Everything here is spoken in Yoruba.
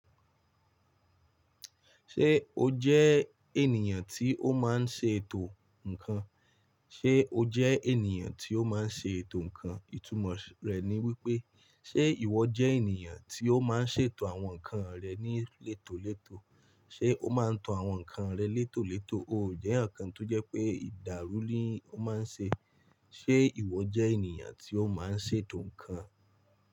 Ṣé o jẹ́ ènìyàn tí ó máa ń ṣètò nǹkan? Ṣé o jẹ́ ènìyàn tí ó máa ń ṣètò nǹkan? Ìtumọ̀ rẹ̀ ni wípé, ṣé ìwọ jẹ́ ènìyàn tí ó máa ń ṣètò àwọn nǹkan rẹ ní létòlétò? Ṣé o máa ń tan àwọn nǹkan rẹ létòlétò? Ó jẹ́ eyaǹ kan tó jẹ́ pé ìdáru ni ó máa ń ṣe. Ṣé ìwọ jẹ́ ènìyàn tí ó máa ń ṣètò nǹkan?